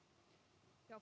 já